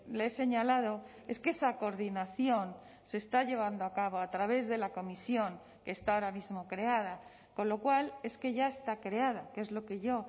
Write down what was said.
le he señalado es que esa coordinación se está llevando a cabo a través de la comisión que está ahora mismo creada con lo cual es que ya está creada que es lo que yo